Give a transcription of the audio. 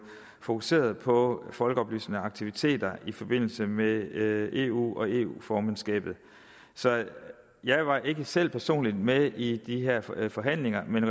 fokuseret på folkeoplysende aktiviteter i forbindelse med eu og eu formandskabet så jeg var ikke selv personligt med i de her forhandlinger men